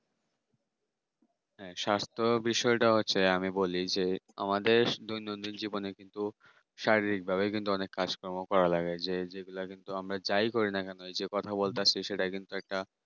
হ্যাঁ স্বাস্থ্য বিষয়ে তা হচ্ছে আমি বলি যে আমাদের বেশ দৈনন্দিন জীবনে কিন্তু শারীরিক ভাবে কিন্তু অনেক কাজ কর্ম করা লাগে যে যেগুলা কিন্তু আমরা যাই করিনা কেন এই যে কথা বলতে আসছি সেইটা কিন্তু একটা